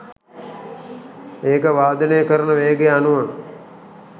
ඒක වාදනය කරන වේගය අනුව